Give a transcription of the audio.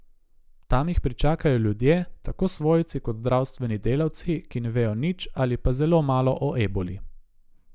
Tam jih pričakajo ljudje, tako svojci kot zdravstveni delavci, ki ne vejo nič ali pa zelo malo o eboli.